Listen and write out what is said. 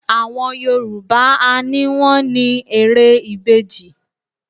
Àwọn Yorùbá á ni wọ́n ni ère ìbejì